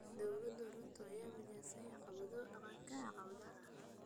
Dowladda Ruto ayaa wajahaysa caqabado dhanka dhaqaalaha ah.